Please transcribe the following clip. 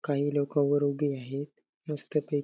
काही लोकं वर उभी आहेत मस्त पैकी--